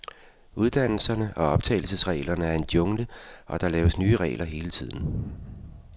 Uddannelserne og optagelsesreglerne er en jungle, og der laves nye regler hele tiden.